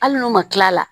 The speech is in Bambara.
Hali n'u ma kila la